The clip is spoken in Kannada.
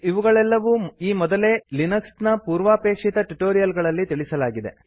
ಇವುಗಳೆಲ್ಲವೂ ಈ ಮೊದಲೇ ಲಿನಕ್ಸ್ ನ ಪೂರ್ವಾಪೇಕ್ಷಿತ ಟ್ಯುಟೋರಿಯಲ್ ಗಳಲ್ಲಿ ತಿಳಿಸಲಾಗಿದೆ